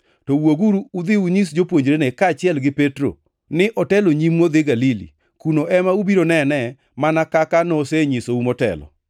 To wuoguru udhi unyis jopuonjrene, kaachiel gi Petro ni, ‘Otelo nyimu odhi Galili. Kuno ema ubiro nenee mana kaka nosenyisou motelo.’ ”